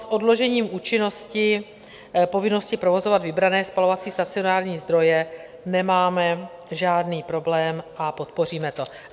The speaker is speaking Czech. S odložením účinnosti povinnosti provozovat vybrané spalovací stacionární zdroje nemáme žádný problém a podpoříme to.